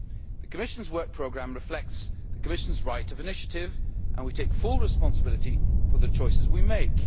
The Commission's Work Programme reflects the Commission's right of initiative and we take full responsibility for the choices we make.